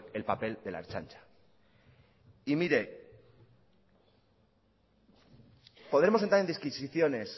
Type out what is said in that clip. el papel de la ertzaintza y mire podemos entrar en disquisiciones